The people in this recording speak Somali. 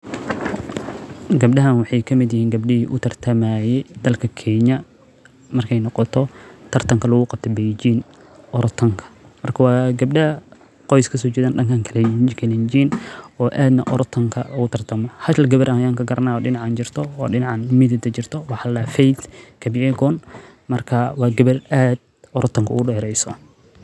Gebdahan waxee kamiid yihin gabdihi utartamaye dalka kenya marka ee noqoto tartanka lagu qatameyo jinka orotanka marka waa geebda qois kaso jedan danka iyo kalenjin oo aad orotanka ogu tartama halgawar ayan ka garana oo dinacan jirto waxaa ladaha feidh kabilgon marka waa gabar aad orodka ogu deyerso.